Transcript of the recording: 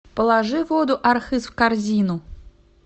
положи воду архыз в корзину